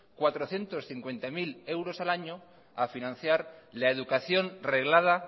cuatrocientos cincuenta mil euros al año a financiar la educación reglada